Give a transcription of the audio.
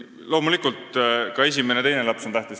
Loomulikult on ka esimene ja teine laps tähtsad.